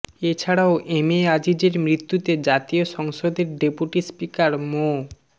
এছাড়াও M A আজিজের মৃত্যুতে জাতীয় সংসদের ডেপুটি স্পিকার মো